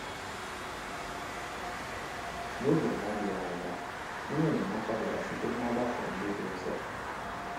N’oge na-adịghị anya, ihe enyemaka bịara site n’ọgbakọ ndị dị nso.